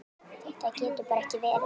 Þetta getur bara ekki verið.